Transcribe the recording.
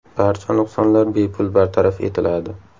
Barcha nuqsonlar bepul bartaraf etiladi.